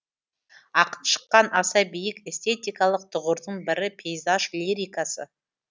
ақын шыққан аса биік эстетикалық тұғырдың бірі пейзаж лирикасы